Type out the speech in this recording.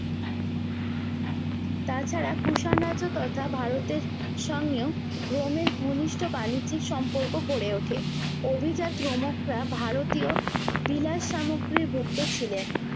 তা ছাড়া কুষাণ রাজ্য তথা ভারতের সঙ্গেও রোমের ঘনিষ্ঠ বাণিজ্যিক সম্পর্ক গড়ে ওঠে অভিজাত রোমকরা ভারতীয় বিলাস সামগ্ৰীর ভুক্ত ছিলেন